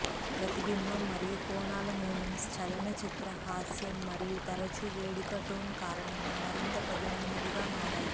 ప్రతిబింబం మరియు కోణాల మొమెంట్స్ చలనచిత్ర హాస్యం మరియు తరచూ వేడుక టోన్ కారణంగా మరింత పదునైనవిగా మారాయి